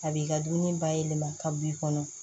A b'i ka dumuni bayɛlɛma ka bɔ i kɔnɔ